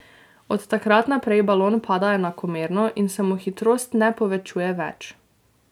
Od takrat naprej balon pada enakomerno in se mu hitrost ne povečuje več.